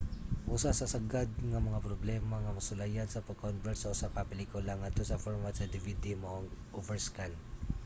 usa sa sagad nga mga problema nga masulayan sa pag-convert sa usa ka pelikula ngadto sa format sa dvd mao ang overscan